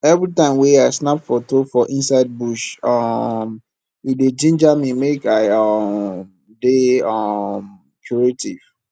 every time wey i snap foto for inside bush um e dey jinja me make i um dey um creative